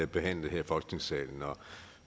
behandlet her i folketingssalen